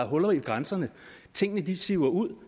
huller ved grænserne tingene siver ud